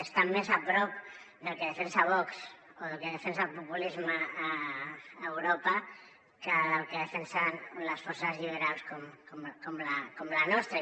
estan més a prop del que defensa vox o del que defensa el populisme a europa que del que defensen les forces liberals com la nostra